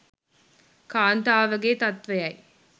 කාන්තාවගේ තත්ත්වයයි.